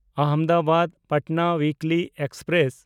ᱟᱦᱚᱢᱫᱟᱵᱟᱫ–ᱯᱟᱴᱱᱟ ᱩᱭᱤᱠᱞᱤ express